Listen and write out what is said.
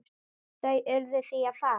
Þau urðu því að fara.